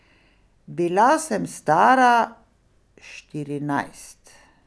Bila sem stara štirinajst.